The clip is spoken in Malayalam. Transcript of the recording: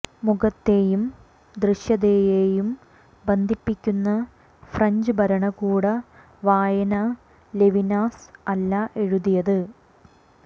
മുഖത്തെയും ദൃശ്യതയെയും ബന്ധിപ്പിക്കുന്ന ഫ്രഞ്ച് ഭരണകൂട വായന ലെവിനാസ് അല്ല എഴുതിയത്